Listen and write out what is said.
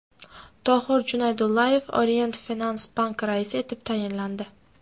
Tohir Junaydullayev Orient Finans Bank raisi etib tayinlandi.